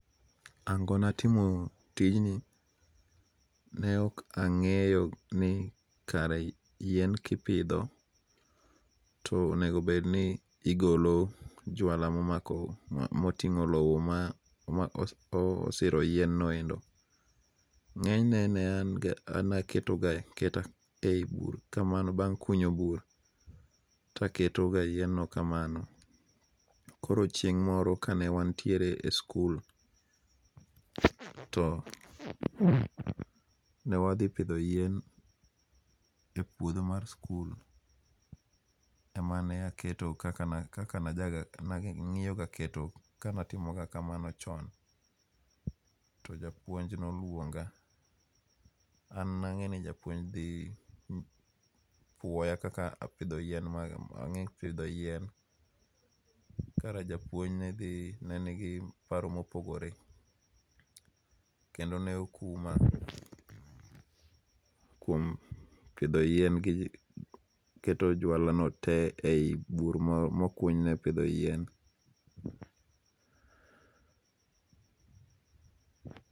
Ang'ona timo tijni, ne ok ang'eyo ni kare yien kipitho to anego bedni igolo jwala ma oting'o lowo ma osiro yienoendo, ng'enyne ne an aketo ga aketa ka bang' kunyo bur to aketo yienno kamano, koro chieng' moro kanewantiere e school to ne wathi pithi yien e puitho mar school emane aketo kaka ne ang'iyoga kanatimoga kamano chon, to japuonj ne oluonga, an nang'eyo ni japuonj ne dhi puoya kaka na apitho yien ma ang'e pitho yien, kara japuonj nedhi ne en gi paro mopogore kendo ne okuma kuom pitho yien keto jwalano te e yi bur ma okuonyne pitho yien